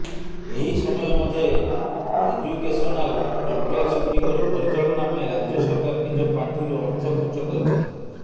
ଏହି ସମୟ ମଧ୍ୟରେ ଏଜୁକେସନାଲ୍ କଂପ୍ଲେକ୍ସଗୁଡ଼ିକର ପରିଚାଳନା ପାଇଁ ରାଜ୍ୟ ସରକାର ନିଜ ପାଣ୍ଠିରୁ ଅର୍ଥ ଖର୍ଚ୍ଚ କରିଛନ୍ତି